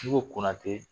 N'i y'o kunna ten